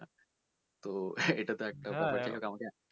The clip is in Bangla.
তো এটা একটা